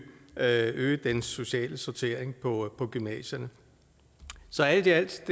at øge den sociale sortering på på gymnasierne så alt i alt